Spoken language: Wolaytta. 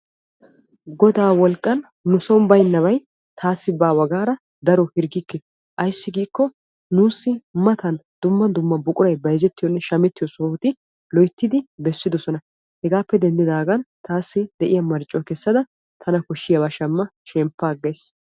Godaa wolqqan nuson baynnabay taassi baawa gaada daruwaa hirggikke ayssi giikko nuussi matan dumma dumma buqurati shamettiyoonne bayzzettiyoo sohoti loyttidi bessidosona. hegaappe denddigaan taassi de'iyaa marccuwaa kessada tana koshshiyaaba shammada shemppa aggays.